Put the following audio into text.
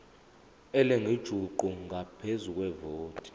elingujuqu ngaphezu kwevoti